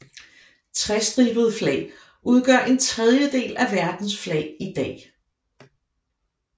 Trestribede flag udgør en tredjedel af verdens flag i dag